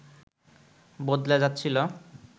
বদলে যাচ্ছিল